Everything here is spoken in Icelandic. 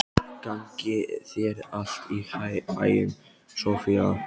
Gangi þér allt í haginn, Soffía.